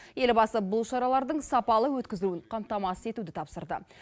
елбасы бұл шаралардың сапалы өткізілуін қамтамасыз етуді тапсырды